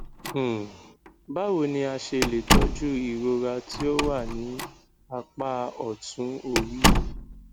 um báwo ni a ṣe le tọju irora ti o wa ni apá otun ori